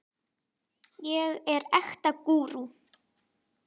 ég er ekta gúrú.